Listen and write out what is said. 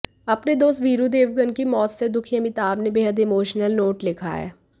अपने दोस्त वीरू देवगन की मौत से दुखी अमिताभ ने बेहद इमोशनल नोट लिखा है